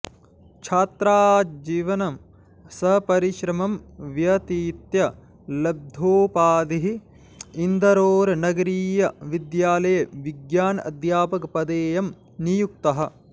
छात्राजीवनम् सपरिश्रमम् व्यतीत्य लभ्धोपाधिः इन्दाेरनगरीय विद्यालये विज्ञान अध्यापक पदेयम् नियुक्तः